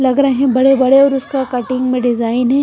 लग रहा है बड़े-बड़े और उसका कटिंग में डिजाइन है।